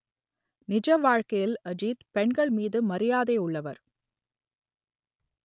நிஜ வாழ்க்கையில் அஜித் பெண்கள் மீது மரியாதை உள்ளவர்